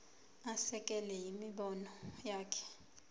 asekele imibono yakhe